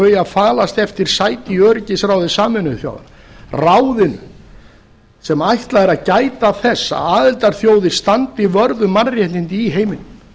þau að falast eftir sæti í öryggisráði sameinuðu þjóðanna ráðinu sem ætlað er að gæta þess að aðildarþjóðir standi vörð um mannréttindi í heiminum